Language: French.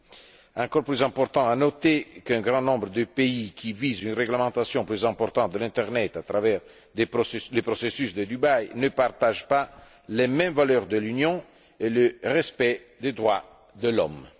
Il est encore plus important de noter qu'un grand nombre de pays qui visent une réglementation plus importante de l'internet, à travers les processus de Dubaï, ne partagent pas les mêmes valeurs que l'Union et le respect des droits de l'homme.